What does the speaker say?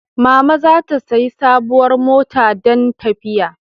Mama za ta sayi sabuwar mota dan tafiya